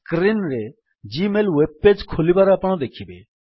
screen ରେ Gmail web page ଖୋଲିବାର ଆପଣ ଦେଖିବେ